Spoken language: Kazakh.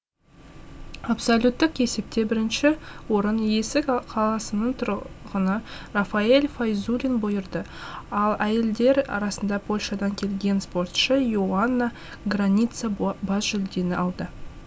абсолюттік есепте бірінші орын есік қаласының тұрғыны рафаэль файзуллин бұйырды ал әйелдер арасында польшадан келген спортшы и оанна граница бас жүлдені алды